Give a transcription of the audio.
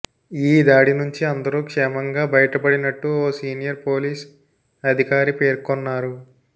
ఈ దాడి నుంచి అందరూ క్షేమంగా బయటపడినట్టు ఓ సీనియర్ పోలీస్ అధికారి పేర్కొన్నారు